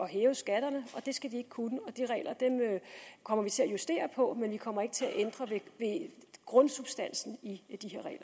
hæve skatterne og det skal de ikke kunne de regler kommer vi til at justere på men vi kommer ikke til at ændre ved grundsubstansen i